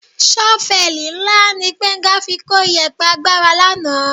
Ṣọ́fẹ́ẹ̀lì ńlá ni Gbénga fi kó ìyẹ̀pẹ̀ àgbàrá lánàá